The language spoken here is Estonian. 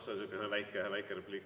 See on selline väike repliik.